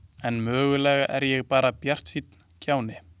En mögulega er ég bara bjartsýnn kjáni.